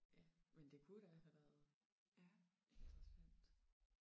Ja men det kunne da have været interessant